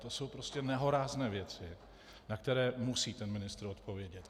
To jsou prostě nehorázné věci, na které musí ten ministr odpovědět.